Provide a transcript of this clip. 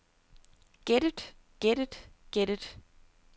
gættet gættet gættet